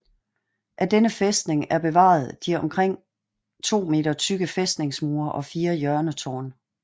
Af denne fæstning er bevaret de omkring 2 m tykke fæstningsmure og fire hjørnetårne